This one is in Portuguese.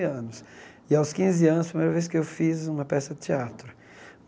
Anos e, aos quinze anos, a primeira vez que eu fiz uma peça de teatro.